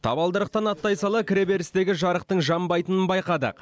табалдырықтан аттай сала кіреберістегі жарықтың жанбайтынын байқадық